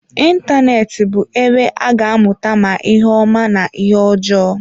Ịntanetị bụ ebe a ga-amụta ma ihe ọma na ihe ọjọọ.